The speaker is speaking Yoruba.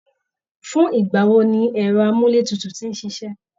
Fún ìgbà wo ni ẹ̀rọ amúletutù tin ṣíṣe?